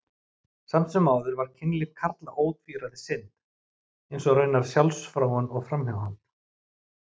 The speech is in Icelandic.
Samt sem áður var kynlíf karla ótvíræð synd, eins og raunar sjálfsfróun og framhjáhald.